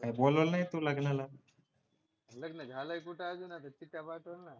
काय बोलावलं नाही तू लग्नाला लग्न झालंय कुठे आता अजून पत्रिका पाठवेल ना